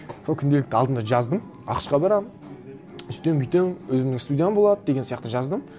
сол күнделікті алдым да жаздым ақш қа барамын сөйтемін бүйтемін өзімнің студиям болады деген сияқты жаздым